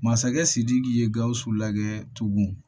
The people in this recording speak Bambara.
Masakɛ sidiki ye gawusu lajɛ tugun